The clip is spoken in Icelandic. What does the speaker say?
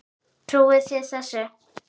Trúið þið þessu?